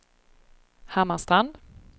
Hammarstrand